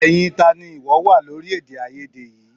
Ẹyin tá ni ìwọ wà lórí èdèàìyedè yìí?